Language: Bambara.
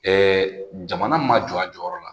jamana ma jɔ a jɔyɔrɔ la